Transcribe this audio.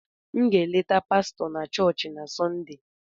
M ga-eleta pastọ na chọọchị na sonde